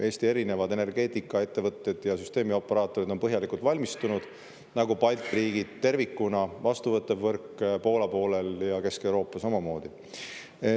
Eesti erinevad energeetikaettevõtted ja süsteemioperaatorid on põhjalikult valmistunud, nagu ka Balti riigid tervikuna, vastuvõttev võrk Poola poolel ja Kesk-Euroopa samamoodi.